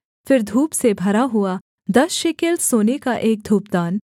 फिर धूप से भरा हुआ दस शेकेल सोने का एक धूपदान